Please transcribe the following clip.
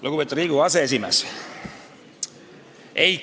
Lugupeetud Riigikogu aseesimees!